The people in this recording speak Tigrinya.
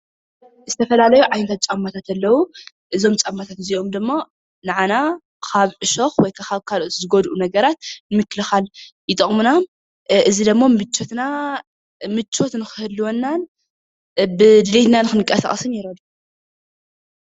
ዝተፈላለዩ ዓይነት ጫማታት ኣለዉ፡፡ እዞም ጫማታት እዚኦም ድማ ንዓና ካብ ዕሾኽ ወይ ካብ ዝጎድኡ ነገራት ንምክልኻል ይጠቕሙና፡፡ እዚ ድማ ምቾት ንክህልወናን ብድሌትና ንክንቀሳቐስን ይረድኡና፡፡